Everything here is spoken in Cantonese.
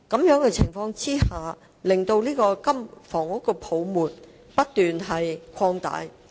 在此情況下，樓市泡沫會不斷擴大。